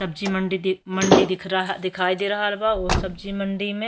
सब्जी मंडी दिख मंडी दिख रहा दिखायी दे रहल बा उ सब्जी मंडी में --